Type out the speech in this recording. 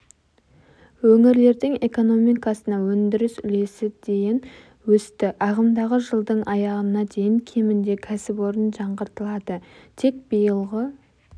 өңірлердің экономикасына өндіріс үлесі дейін өсті ағымдағы жылдың аяғына дейін кемінде кәсіпорын жаңғыртылады тек биылғы